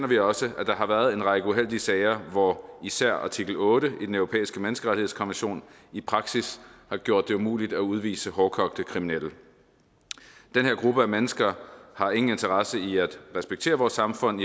vi også at der har været en række uheldige sager hvor især artikel otte i den europæiske menneskerettighedskonvention i praksis har gjort det umuligt at udvise hårdkogte kriminelle den her gruppe af mennesker har ingen interesse i at respektere vores samfund